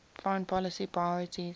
foreign policy priorities